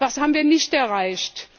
Was haben wir nicht erreicht?